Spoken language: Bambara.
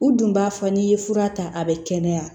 U dun b'a fɔ n'i ye fura ta a bɛ kɛnɛya